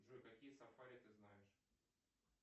джой какие сафари ты знаешь